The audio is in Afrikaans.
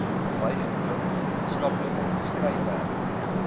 bygewoon wetenskaplike skryfwerk